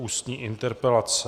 Ústní interpelace